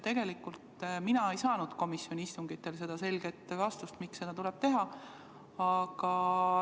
Mina ei saanud komisjoni istungitel selget vastust, miks seda tuleb teha.